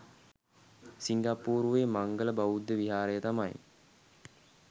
සිංගප්පූරුවේ මංගල් බෞද්ධ විහාරය තමයි